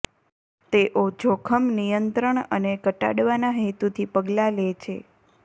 તેઓ જોખમ નિયંત્રણ અને ઘટાડવાના હેતુથી પગલાં લે છે